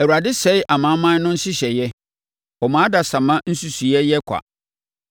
Awurade sɛe amanaman no nhyehyɛeɛ; ɔma adasamma nsusuiɛ yɛ kwa.